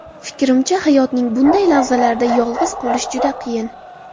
Fikrimcha, hayotning bunday lahzalarida yolg‘iz qolish juda qiyin”.